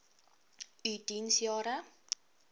u diens jare